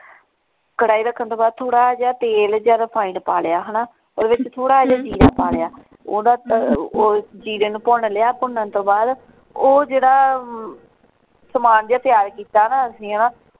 ਕੜਾਈ ਰੱਖਣ ਤੋਂ ਬਾਅਦ ਥੋੜਾ ਜਿਹਾ ਤੇਲ ਯਾਂ refined ਪਾ ਲਿਆ ਹਣਾ ਓਹਦੇ ਵਿੱਚ ਥੋੜਾ ਜਿਹਾ ਜੀਰਾ ਪਾ ਲਿਆ ਓਹਦਾ ਉਹ ਜੀਰੇ ਨੂੰ ਭੁਨ ਲਿਆ ਭੁਨਣ ਤੋਂ ਬਾਅਦ ਉਹ ਜਿਹੜਾ ਸਮਾਨ ਜਿਹਾ ਤਿਆਰ ਕੀਤਾ ਨਾ ਅਸੀਂ ਹਣਾ।